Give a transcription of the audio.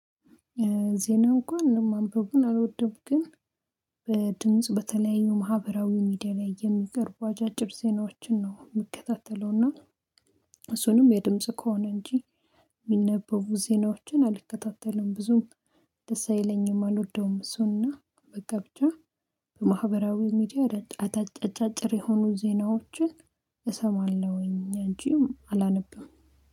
ዜና እንኳን ማንበቡን አልወደውም። ግን በድምጽ በተለያዩ ማህበራዊ ሚዲያ ላይ የሚቀርቡ አጫጭር ዜናዎችን ነው የምከታተለውና። እሱንም የድምጽ ከሆነ እንጂ ሚነበቡ ዜናዎችን አልከታተልም ብዙም ደስ አይለኝም አልወደውም። እሱና በቃ ብቻ ማህበራዊ ሚዲያ አጫጭር የሆኑ ዜናዎችን እሰማለሁኝ አንጂ አላነብም